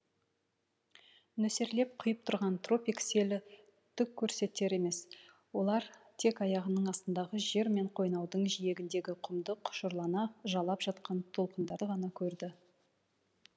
нөсерлеп құйып тұрған тропик селі түк көрсетер емес олар тек аяғының астындағы жер мен қойнаудың жиегіндегі құмды құшырлана жалап жатқан толқындарды ғана көрді